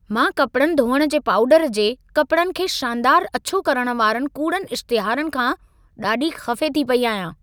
मां कपड़नि धोइण जे पाउडर जे, कपिड़नि खे शानदार अछो करण वारनि कूड़नि इश्तिहारनि खां ॾाढी ख़फ़े थी पेई आहियां।